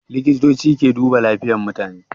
likitoci ke duba lafiyan mutane